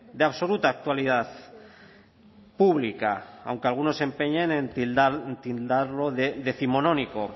de absoluta actualidad pública aunque algunos se empeñen en tildarlo de décimonónico